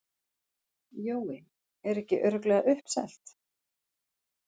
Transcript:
Jói, er ekki örugglega uppselt?